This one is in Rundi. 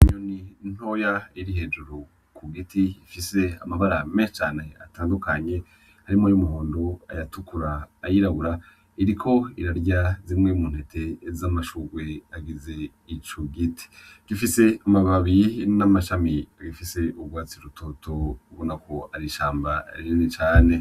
Inyoni ntoya iri hejuru ku giti ifise amabara menshi cane atandukanye harimwo ay'umuhondo, ayatukura, ayirabura, iriko irarya zimwe mu ntete z'amashugwe agize ico giti, gifise amababi n'amashami bifise urwatsi rutoto ubona ko ari ishamba rinini cane.